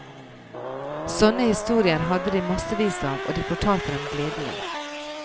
Sånne historier hadde de massevis av, og de fortalte dem gledelig.